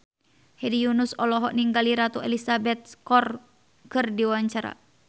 Hedi Yunus olohok ningali Ratu Elizabeth keur diwawancara